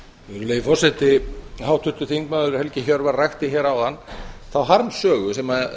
virðulegi forseti háttvirtur þingmaður helgi hjörvar rakti hér áðan þá harmsögu sem